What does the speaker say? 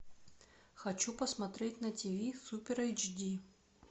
хочу посмотреть на тв супер эйч ди